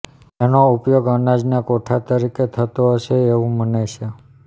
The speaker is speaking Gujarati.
એનો ઉપયોગ અનાજના કોઠાર તરીકે થતો હશે એવું મનાય છે